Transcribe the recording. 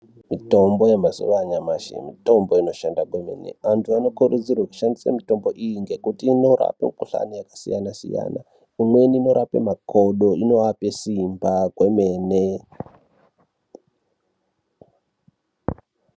Mitombo yamazuva anyamashi mitombo inoshanda kwemene. Antu anokurudzirwe kushandise mitombo iyi ngekuti inorapa mikuhlani yakasiyana-siyana, imweni inorape makodo unovape simba kwemene.